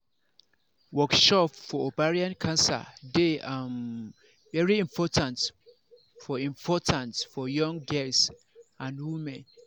workshop for ovarian cancer dey um very important for important for young girls and women